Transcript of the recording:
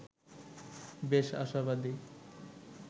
বেশ আশাবাদী